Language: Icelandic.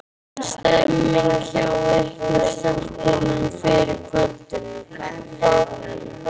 En stemningin hjá ykkur stelpunum fyrir kvöldinu, hvernig er hún?